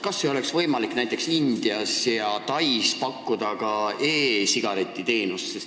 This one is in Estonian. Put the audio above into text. Kas ei oleks võimalik näiteks Indias ja Tais pakkuda ka e-sigareti teenust?